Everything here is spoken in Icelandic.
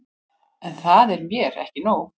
En það er mér ekki nóg.